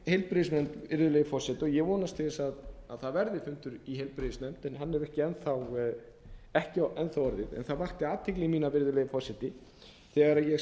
heilbrigðisnefnd virðulegi forseti og ég vonast til þess að það verði fundur í heilbrigðisnefnd en það hefur ekki enn þá orðið en það vakti athygli mína virðulegi forseti þegar ég